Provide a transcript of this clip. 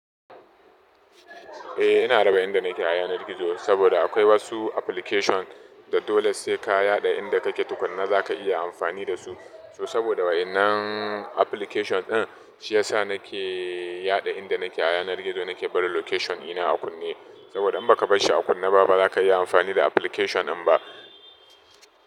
Eh ina raba inda nake a yanar gizo saboda akwai wasu application da dole saika yaɗa inda kake tukuna zaka iya amfani dasu. So saboda wa'yannan application ɗin shiyasa nake yaɗa inda nake a yanar gizo nake barin location ɗina a kunne. Saboda in baka bashhi a kunne ba bazaka iya amfani da application ɗin ba.